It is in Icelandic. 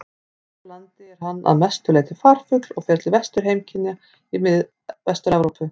Hér á landi er hann að mestu leyti farfugl og fer til vetrarheimkynna í Vestur-Evrópu.